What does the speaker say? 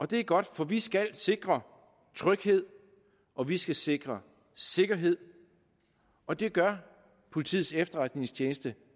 det er godt for vi skal sikre tryghed og vi skal sikre sikkerhed og det gør politiets efterretningstjeneste